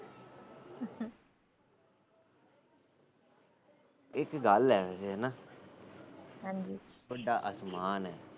ਇੱਕ ਗੱਲ ਆ ਹੈਨਾ ਹਾਜੀ ਆਸਮਾਨ ਏ